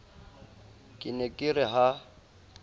ke ne ke re ha